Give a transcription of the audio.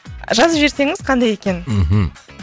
жазып жіберсеңіз қандай екенін мхм